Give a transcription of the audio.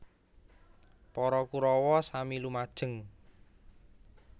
Para Korawa sami lumajeng